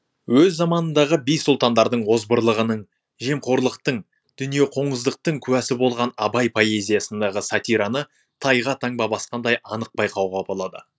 өз заманындағы би сұлтандардың озбырлығының жемқорлықтың дүниеқоңыздықтың куәсі болған абай поэзиясындағы сатираны тайға таңба басқандай анық байқауға болады